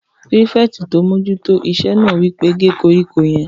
Pírífẹ̀tì tó n mójú tó iṣẹ́ náà wí pé "gé koríko yẹn!"